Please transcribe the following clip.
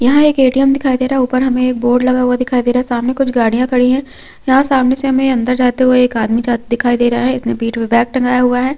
यहाँ एक ए_टी_एम दिखाई दे रहा है ऊपर हमें एक बोर्ड लगा हुआ दिखाई दे रहा है सामाने कुछ गाड़ियां खड़ी है यहाँ सामाने से हमें अंदर जाते हुए एक आदमी जा दिखाई दे रहा है जिसने पीठ पे बैग टंगाया हुआ है।